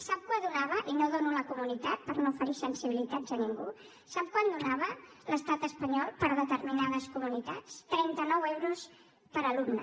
sap quant donava i no en dono la comunitat per no ferir sensibilitats a ningú l’estat espanyol per a determinades comunitats trenta nou euros per alumne